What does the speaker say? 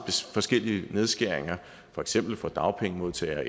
forskellige nedskæringer for eksempel for dagpengemodtagere